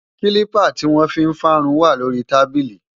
kílípà tí wọ́n fi ń fárun wà lórí i tábílì